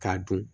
K'a dun